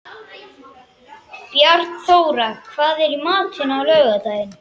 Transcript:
Bjarnþóra, hvað er í matinn á laugardaginn?